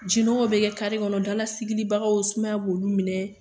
Ji nɔgɔw bɛ kɛ kɔnɔ dalasigilibagaw sumaya b'olu minɛ.